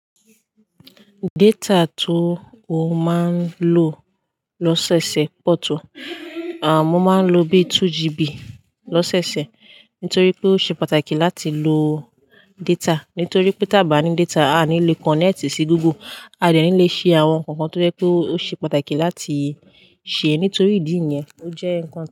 Data tó o máa ń lò lọ́sẹ̀ ọ̀sẹ̀ pọ̀ tó? Ah mo máa ń lò bí 2GB lọ́sẹ̀ ọ̀sẹ̀ nítorí pé ó ṣe pàtàkì láti lo data. Nítorí pe tabani data a ní lè connect sí Google, a dẹ̀ ní lè ṣe àwọn nkankan tó sẹ pé ó ṣe pàtàkì láti ṣe nítorí ìdí yẹn ó jẹ́ nkan tí.